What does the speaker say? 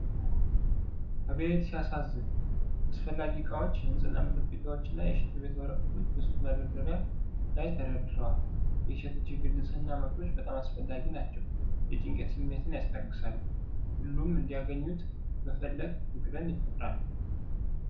አቤት ሲያሳዝን! አስፈላጊ ዕቃዎች! የንፅህና መጠበቂያዎችና የሽንት ቤት ወረቀቶች በሱቅ መደርደሪያ ላይ ተደርድረዋል። የሴቶች የግል ንፅህና ምርቶች በጣም አስፈላጊ ናቸው። የጭንቀት ስሜትን ያስታግሳሉ። ሁሉም እንዲያገኙት መፈለግ ፍቅርን ይፈጥራል።